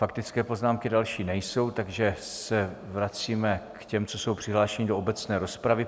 Faktické poznámky další nejsou, takže se vracíme k těm, co jsou přihlášeni do obecné rozpravy.